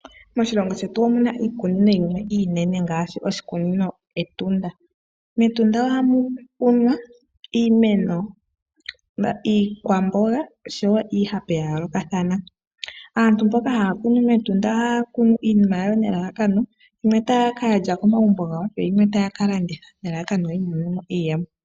Moshilongo shetu omuna iikunino yimwe ngaashi oshikunino Etunda. Metunda ohamu kunwa iimeno, iikwamboga oshowo iihape ya yoolokathana. Aantu mboka haya kunu mEtunda ohaya kunu iinima yawo nelalakano yimwe taya kalya komagumbo gawo yo yimwe taya kalanditha nelalakano yi imonene mo iiyemo .